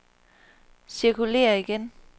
cirkulér igen